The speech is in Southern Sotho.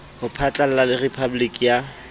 ho phatlalla le rephaboliki ya